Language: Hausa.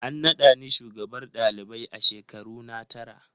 An nada ni shugabar ɗalibai a shekaruna tara.